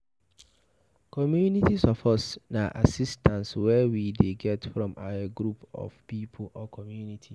Community support na assistance wey we dey get from a group of pipo or community